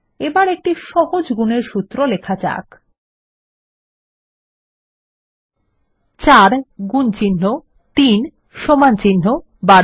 এবার একটি সহজ গুনের সূত্র লেখা যাক ৪ গুনচিন্হ ৩ সমানচিন্হ ১২